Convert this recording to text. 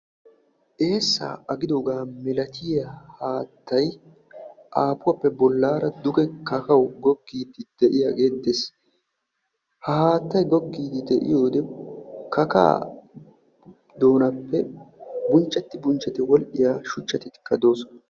eesaa agidoogaa malatiya haattay aapuwappe bollaara duge kakawu goggiiddi de'iyaagee des. ha haattay goggiiddi de'iyoode kakaa doonatuppe bunchetti bunchetti wodhiya shuchchatikka doosona.